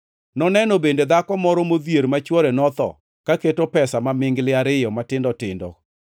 Noneno bende dhako moro modhier ma chwore notho ka keto pesa mamingli ariyo matindo tindo.